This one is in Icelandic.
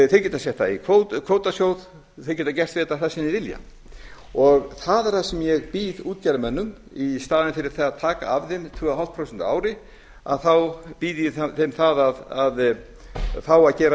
þeir geta sett það í kvótasjóð þeir geta gert við þetta það sem þeir vilja það er það sem ég býð útgerðarmönnum í staðinn fyrir það að taka af þeim tveimur og hálft prósent á ári þá býð ég þeim það að fá að gera við